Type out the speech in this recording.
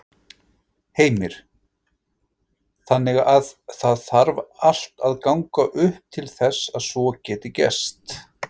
Heimir: Þannig að það þarf allt að ganga upp til þess að svo geti gerst?